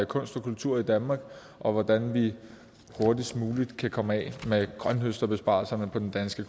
kunst og kultur i danmark og hvordan vi hurtigst muligt kan komme af med grønthøsterbesparelserne på den danske